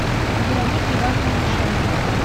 вероники ивановны ляшенко